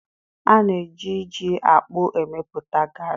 A na-eji ji akpu emepụta garị